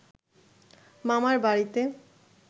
মামার বাড়িতে